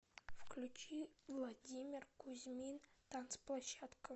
включи владимир кузьмин танцплощадка